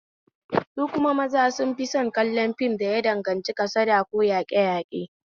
Su kuma maza sun fi son kallon fim da ya danganci kasada ko yaƙeyaƙe